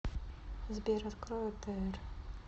сбер открой отр